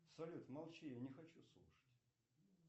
салют молчи не хочу слушать